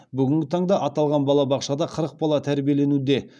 бүгінгі таңда аталған балабақшада қырық бала тәрбиеленуде